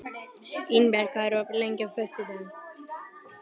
Ingberg, hvað er opið lengi á föstudaginn?